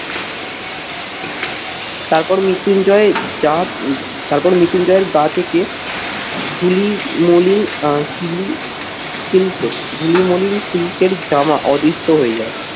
তারপর মৃত্যুঞ্জয় জাত তারপর মৃত্যুঞ্জয়ের গা থেকে ঝুলি, মলিন আহ সিলি সিল্কে, ঝুলি মলিন সিল্কের জামা অধিষ্ঠ হয়ে যায়।